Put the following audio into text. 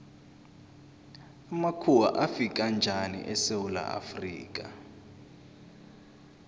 amakhuwa afika njani esewula afrika